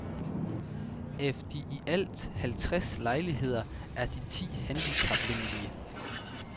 Af de i alt halvtreds lejligheder er de ti handicapvenlige.